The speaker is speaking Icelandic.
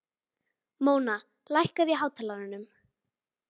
Þeir báðu hann að tala skýrar.